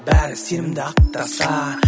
бәрі сенімді ақтаса